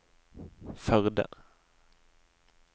Førde